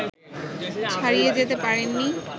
ছাড়িয়ে যেতে পারেননি